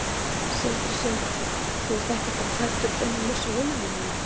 Sindri Sindrason: Þú ert ekki bara hræddur um að missa vinnuna þína?